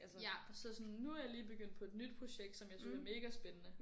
Ja så sådan nu er jeg lige begyndt på et nyt projekt som jeg synes er mega spændende